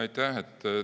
Aitäh!